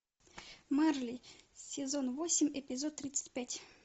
мерли сезон восемь эпизод тридцать пять